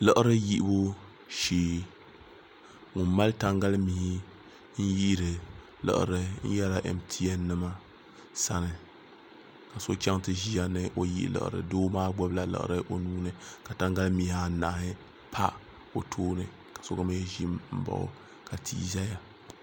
liɣiri yihibu shee ka o mali tangali mii n yihiri liɣiri o biɛla mtn nim sani so chɛŋ ti ʒiya ni o yihi laɣari doo maa gbubila laɣari o nuuni ka tangali mihi anahi pa o tooni ka so mii ʒi n baɣa o ka tia ʒɛya